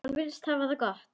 Hann virðist hafa það gott.